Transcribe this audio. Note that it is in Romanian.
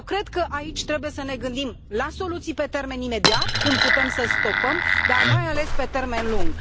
Eu cred că aici trebuie să ne gândim la soluții pe termen imediat, cum putem să stopăm, dar mai ales pe termen lung.